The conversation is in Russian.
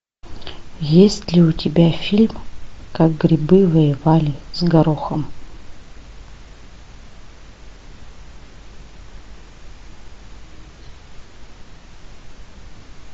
есть ли у тебя фильм как грибы воевали с горохом